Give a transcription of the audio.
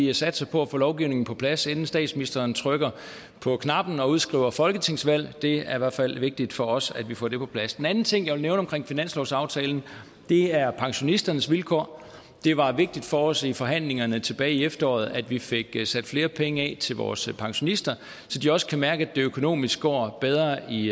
vi satser på at få lovgivningen på plads inden statsministeren trykker på knappen og udskriver folketingsvalg det er i hvert fald vigtigt for os at vi får det på plads den anden ting jeg vil nævne omkring finanslovsaftalen er pensionisternes vilkår det var vigtigt for os i forhandlingerne tilbage i efteråret at vi fik sat flere penge af til vores pensionister så de også kan mærke at det økonomisk går bedre i